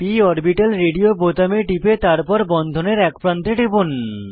p orbital radio বোতামে টিপে তারপর বন্ধনের এক প্রান্তে টিপুন